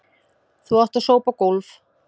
Þú átt að sópa gólf.